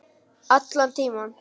Allan tímann.